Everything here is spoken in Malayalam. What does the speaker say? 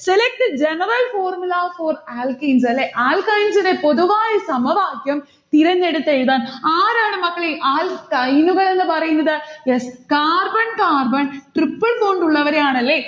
select the general formula for alkenes അല്ലേ alkynes ന്റെ പൊതുവായ സമവാക്യം തിരഞ്ഞെടുത്തെഴുതാൻ. ആരാണ് മക്കളെ alkyne ഉകൾ എന്ന് പറയുന്നത്? yes. carbon carbon triple bond ഉള്ളവരെയാണ് അല്ലെ